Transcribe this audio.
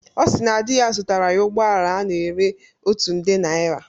Ọ si na di ya zụtara ya ụgbọala a na-ere otu nde naira